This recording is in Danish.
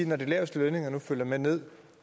når de laveste lønninger nu følger med ned